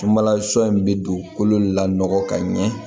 Sumala sɔ in bɛ dugukolo la nɔgɔ ka ɲɛ